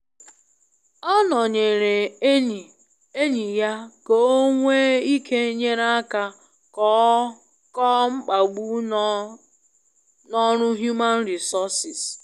Ọ nonyere enyi enyi ya ka ọ nwe ike nyere aka kọọ mkpagbu no na ọrụ Human Resources